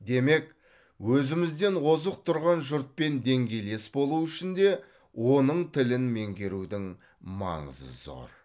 демек өзімізден озық тұрған жұртпен деңгейлес болу үшін де оның тілін меңгерудің маңызы зор